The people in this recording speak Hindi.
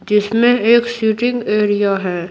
जिसमें एक सीटिंग एरिया है।